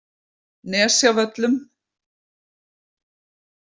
Nesjavöllum